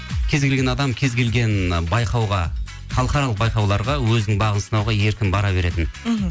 кез келген адам кез келген байқауға халықаралық байқауларға өзінің бағын сынауға еркін бара беретін мхм